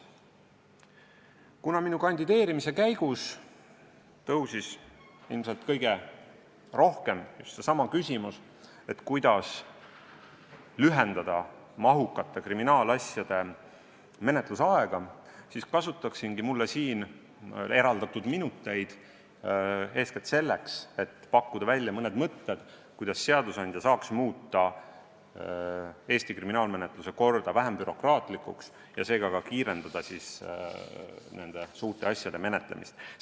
Kuna minu kandideerimise käigus tõusis ilmselt kõige rohkem üles küsimus, kuidas lühendada mahukate kriminaalasjade menetluse aega, siis kasutaksingi mulle siin eraldatud minuteid eeskätt selleks, et pakkuda välja mõned mõtted, kuidas seadusandja saaks Eesti kriminaalmenetluse korda vähem bürokraatlikuks muuta ja sel moel suurte asjade menetlemist kiirendada.